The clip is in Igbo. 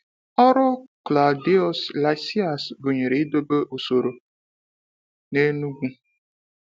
Ọrụ Claudius Lysias gụnyere idobe usoro n’Enugu.